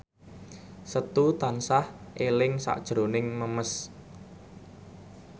Setu tansah eling sakjroning Memes